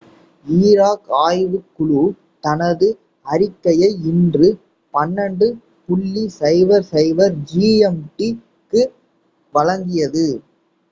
Iraq ஆய்வுக் குழு தனது அறிக்கையை இன்று 12.00 gmt-க்கு வழங்கியது